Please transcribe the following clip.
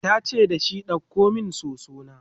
tace dashi "ɗauko min soso na!"